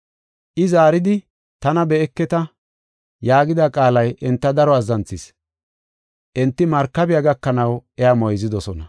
I Zaaridi, “Tana be7eketa” yaagida qaalay enta daro azzanthis. Enti markabiya gakanaw iya moyzidosona.